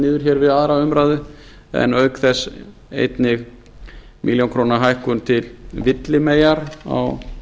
niður við aðra umræðu en auk þess einnig milljónir króna hækkun til villimeyjar á